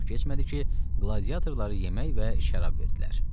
Çox keçmədi ki, qladiatorlara yemək və şərab verdilər.